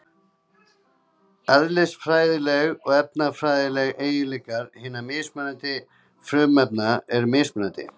Eðlisfræðilegir og efnafræðilegir eiginleikar hinna mismunandi frumefna eru mismunandi.